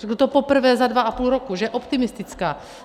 Řekl to poprvé za dva a půl roku, že je optimistická.